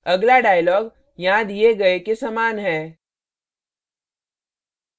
अगला dialog यहाँ the गए के समान है